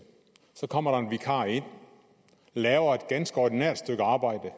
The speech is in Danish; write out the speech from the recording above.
så kommer der en vikar ind og laver et ganske ordinært stykke arbejde